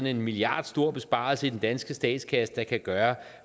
en milliardstor besparelse i den danske statskasse der kan gøre